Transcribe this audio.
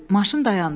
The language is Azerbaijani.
Maşın dayandı.